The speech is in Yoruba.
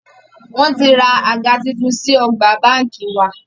Wọn tí ra àga tuntun sí ọgbà báńkì wa.